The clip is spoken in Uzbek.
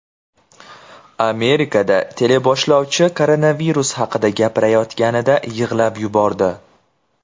Amerikada teleboshlovchi koronavirus haqida gapirayotganida yig‘lab yubordi .